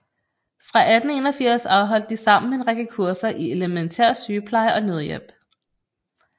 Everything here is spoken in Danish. Fra 1881 afholdte de sammen en række kurser i elemæntær sygepleje og nødhjælp